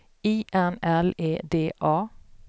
I N L E D A